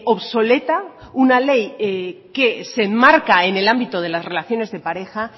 obsoleta una ley que se enmarca en el ámbito de las relaciones de pareja